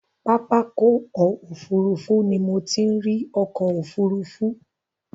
Pápákọ̀ òfurufú ni mo ti ń ri ọkọ̀ òfurufú.